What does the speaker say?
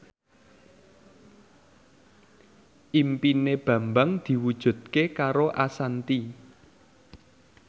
impine Bambang diwujudke karo Ashanti